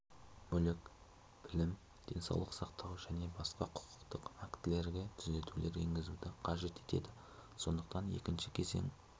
мүлік білім денсаулық сақтау және басқа құқықтық актілерге түзетулер енгізуді қажет етеді сондықтан екінші кезең